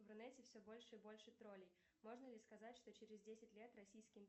в рунете все больше и больше троллей можно ли сказать что через десять лет российский